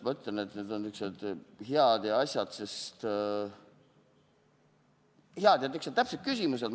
Ma ütlen, et need on niisugused head ja täpsed küsimused.